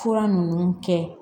Fura ninnu kɛ